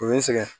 O bɛ n sɛgɛn